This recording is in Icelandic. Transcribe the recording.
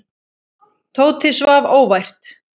Tóti svaf óvært.